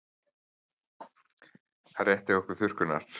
Hann rétti okkur þurrkurnar.